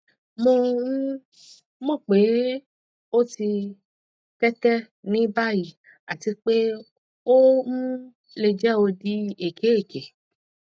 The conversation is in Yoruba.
mo um mọ pe o ti tete ni bayi ati pe o um le jẹ odi eke eke